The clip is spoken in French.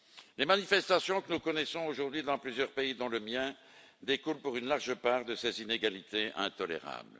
Les manifestations que nous connaissons aujourd'hui dans plusieurs pays, dont le mien, découlent pour une large part de ces inégalités intolérables.